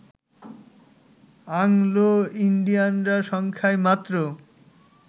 অ্যাংলোইন্ডিয়ানরা সংখ্যায় মাত্র